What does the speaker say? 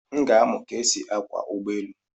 M ga-amụ ka esi akwọ ụgbọ elu.